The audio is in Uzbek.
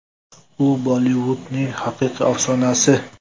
U Bollivudning haqiqiy afsonasi.